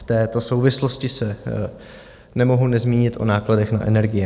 V této souvislosti se nemohu nezmínit o nákladech na energie.